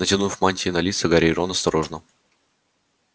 натянув мантии на лица гарри и рон осторожно